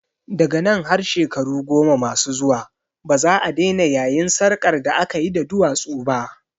Daga nan har shekaru goma masu zuwa baza'a daina yayin sarƙar da akayi da duwatsu ba